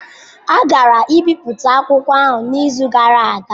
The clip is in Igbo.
A gara-ibipụta akwụkwọ ahụ n'izu gara aga.